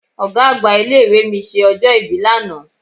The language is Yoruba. Ọ̀gá àgbà ilé ìwé mi ṣe ọjọ́ ìbí lánàá.